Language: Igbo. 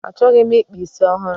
Achọghị m ịkpa isi ọhụrụ.